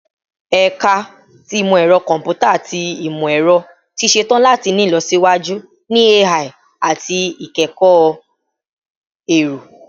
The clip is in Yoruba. Ẹka ti Imọ-ẹrọ Kọmputa ati Imọ-ẹrọ ti ṣetan lati ni ilọsiwaju ni AI ati ikẹkọ ẹrọ